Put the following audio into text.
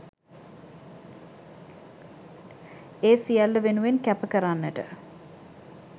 ඒ සියල්ල වෙනුවෙන් කැප කරන්නට